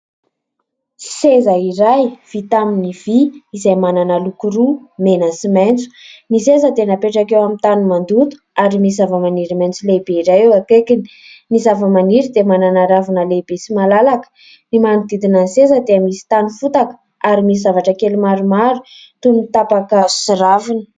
Seza iray vita amin'ny vy izay manana loko roa: mena sy maitso. Ny seza dia napetraka eo amin'ny tany mandoto ary misy zavamaniry maitso lehibe iray eo akaikiny. Ny zavamaniry dia manana ravina lehibe sy malalaka; ny manodidina ny seza dia misy tany fotaka ary misy zavatra kely maromaro toy ny tapaka sy ravina.